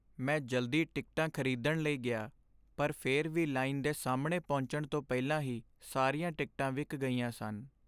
ਮੈਂ ਜਲਦੀ ਟਿਕਟਾਂ ਖ਼ਰੀਦਣ ਲਈ ਗਿਆ ਪਰ ਫਿਰ ਵੀ ਲਾਈਨ ਦੇ ਸਾਹਮਣੇ ਪਹੁੰਚਣ ਤੋਂ ਪਹਿਲਾਂ ਹੀ ਸਾਰੀਆਂ ਟਿਕਟਾਂ ਵਿਕ ਗਈਆਂ ਸਨ।